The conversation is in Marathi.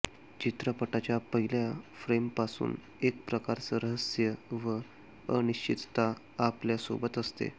चित्रपटाच्या पहिल्या फ्रेमपासून एक प्रकारचं रहस्य व अनिश्चितता आपल्या सोबत असते